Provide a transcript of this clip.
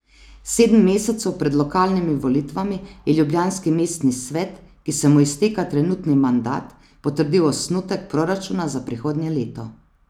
Sedem mesecev pred lokalnimi volitvami je ljubljanski mestni svet, ki se mu izteka trenutni mandat, potrdil osnutek proračuna za prihodnje leto.